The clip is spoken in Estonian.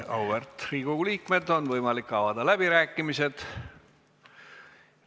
Auväärt Riigikogu liikmed, on võimalik avada läbirääkimised.